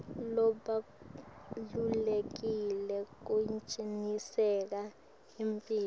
lobalulekile kucinisekisa imphilo